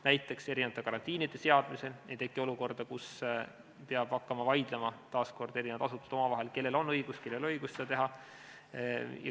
Näiteks, et karantiinide seadmisel ei tekiks olukorda, kus peavad taas kord hakkama eri asutused omavahel vaidlema, kellel on õigus ja kellel ei ole õigust seda teha.